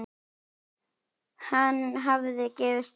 Hann hafði gefist upp.